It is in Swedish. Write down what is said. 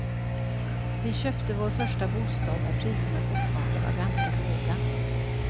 Vi köpte vår första bostad när priserna fortfarande var ganska låga.